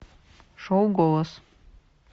шоу голос